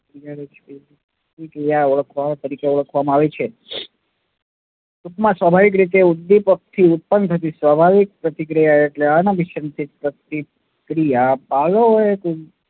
ઓળખવામાં, તરીકે ઓળખવામાં આવે છે. ટૂંકમાં સ્વાભાવિક રીતે ઉદ્દીપકથી ઉત્પન્ન થતી સ્વાભાવિક પ્રતિક્રિયા એટલે અનાભીસંધિત પ્રતિક્રિયા. પાઉલોએ